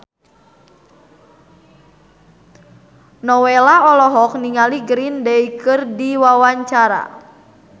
Nowela olohok ningali Green Day keur diwawancara